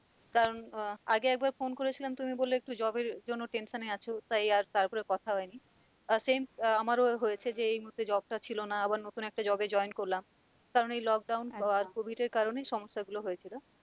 কারণ আহ আগে একবার phone করেছিলাম তুমি বললে একটু job এর জন্য tension আছো তাই আর তারপরে কথা হয় নি আহ same আহ আমারও হয়েছে যে এই মধ্যে job টা ছিল না আবার নতুন একটা job এ join করলাম কারণ এই lockdown আহ covid এর কারণে সমস্যা গুলো হয়েছিল।